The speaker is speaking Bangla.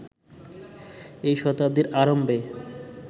এই শতাব্দীর আরম্ভে